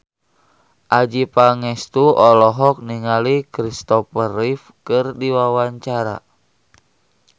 Adjie Pangestu olohok ningali Kristopher Reeve keur diwawancara